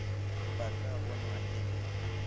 ba ka bonwa e le